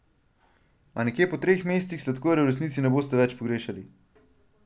A nekje po treh mesecih sladkorja v resnici ne boste več pogrešali.